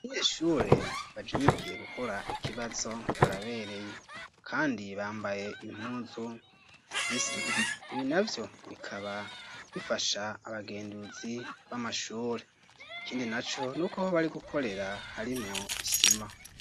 Abashure bajinyikiye gukora ikibazo barabereye kandi bambaye impuzu zisa ibi navyo bikaba bifasha abagenduzi b'amashure ikindi naco nuko aho bari gukorera harimwo isima.